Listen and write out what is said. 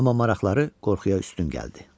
Amma maraqları qorxuya üstün gəldi.